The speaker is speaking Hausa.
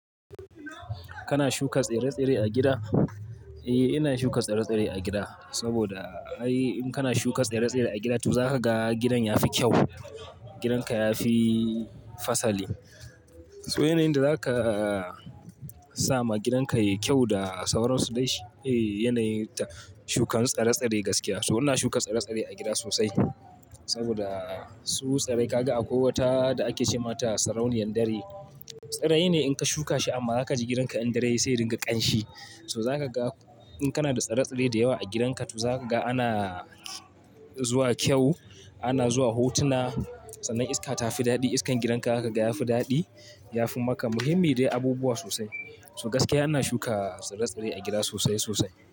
Kana shuka tsire-tsire a gida? Eh, ina shuka tsire-tsire a gida saboda ai in kana shuka tsire-tsire a gida, to za ka ga gidan ya fi kyau. Gidanka ya fi fasali. So yanayin da zaka sama gidanka yayi kyau da sauransu dai shi ne yanayin shuka tsire-tsire gaskiya. So ina shuka tsire-tsire a gida sosai saboda su tsire ka ga akwai wata da ake ce mata sarauniyar dare. Tsire ne in ka shuka shi amma zaka ji gidan ka in dare sai ringa ƙanshi. To zaka ga in kana da tsire-tsire da yawa a gidanka to zaka ga ana zuwa kyau, ana zuwa hotuna, sannan iska ta fi daɗi. Iskan gidanka zaka ga ya fi daɗi, ya fi maka muhimmi dai abubuwa sosai. So gaskiya ina shuka tsire-tsire a gida sosai sosai.